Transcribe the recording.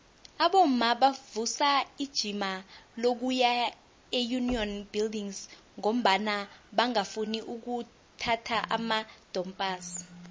abomma bavusa ijima lokuya eunion buildings ngombana bangafuni ukuphatha amadompass